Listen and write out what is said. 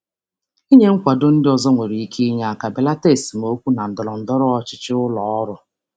Ịnye um ndị ọzọ nkwado nwere ike inye aka mee ka esemokwu ndọrọndọrọ ụlọ ọrụ belata.